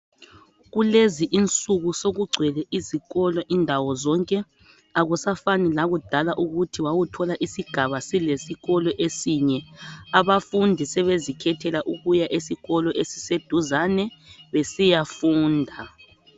Kulezinsuku sokugcwele izikolo indawo zonke akusafani lakudala ukuthi wawuthola isigaba silesikolo esinye abafundi sebezikhethela ukuya esikolo esiseduzane besiyafunda.